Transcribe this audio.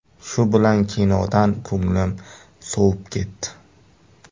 Shu bilan kinodan ko‘nglim sovib ketdi.